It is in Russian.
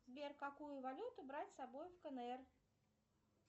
сбер какую валюту брать с собой в кнр